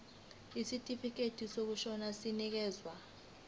isitifikedi sokushona sinikezwa